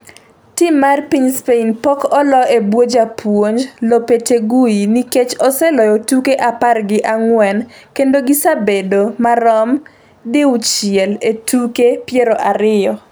Tim mar piny Spain pok olo e bwo japuonj Lopetegui, nikech oseloyo tuke apar gi ang'wen kendo gisebedo marom di uchiel e tuke piero ariyo